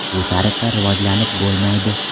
Bu tariqa rivojlanib bo‘lmaydi.